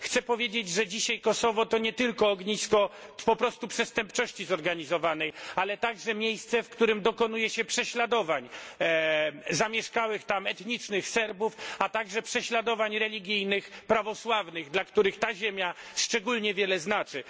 Chcę powiedzieć, że dzisiaj Kosowo to nie tylko ognisko po prostu przestępczości zorganizowanej, ale także miejsce, w którym dokonuje się prześladowań zamieszkałych tam etnicznych Serbów, a także prześladowań religijnych prawosławnych, dla których ta ziemia szczególnie wiele znaczy.